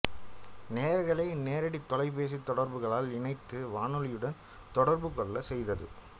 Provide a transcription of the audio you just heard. நேயர்களை நேரடித் தொலைபேசித் தொடர்புகளால் இணைத்து வானொலியுடன் தொடர்பு கொள்ளச் செய்தது